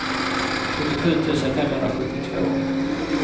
sjuttiosju tusen femhundrasjuttiotvå